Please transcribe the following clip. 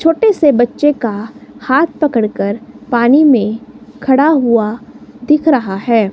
छोटे से बच्चे का हाथ पकड़ कर पानी में खड़ा हुआ दिख रहा है।